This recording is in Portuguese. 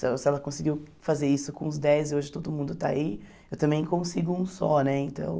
Se ela se ela conseguiu fazer isso com os dez e hoje todo mundo está aí, eu também consigo um só né então.